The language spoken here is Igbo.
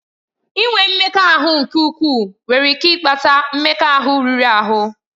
Inwe mmekọahụ nke ukwuu nwere ike ịkpata mmekọahụ riri ahụ.